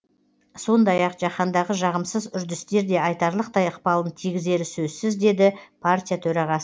сондай ақ жаһандағы жағымсыз үрдістер де айтарлықтай ықпалын тигізері сөзсіз деді партия төрағасы